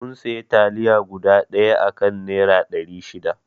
Mun sayi taliya guda ɗaya a kan naira ɗari shida